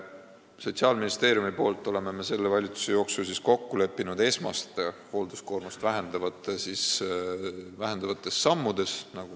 Sotsiaalministeeriumis oleme selle valitsuse ajal kokku leppinud esmastes hoolduskoormust vähendavates sammudes.